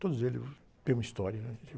Todos eles têm uma história, né?